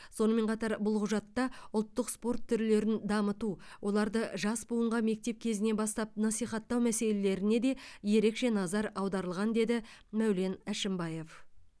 сонымен қатар бұл құжатта ұлттық спорт түрлерін дамыту оларды жас буынға мектеп кезінен бастап насихаттау мәселелеріне де ерекше назар аударылған деді мәулен әшімбаев